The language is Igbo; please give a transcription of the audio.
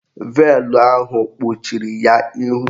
Veelụ ahụ kpuchiri ya ihu